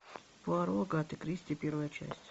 пуаро агаты кристи первая часть